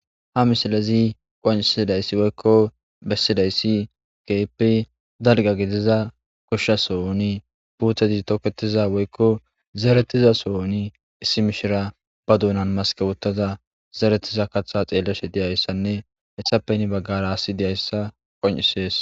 Ha misilezi qonicises woyiko besizayis kehipe daliga giziza gosha sohoni puteti toketiza woyiko zeretiza sohon issi mishirya ba dunan masike wothada zeretida katha xelashe deyisane etape hini bagara asi deyisa qoncises